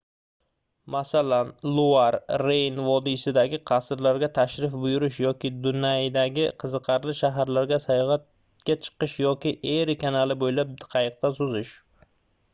masalan luar reyn vodiysidagi qasrlarga tashrif buyurish yoki dunaydagi qiziqarli shaharlarga sayohatga chiqish yoki eri kanali boʻylab qayiqda suzish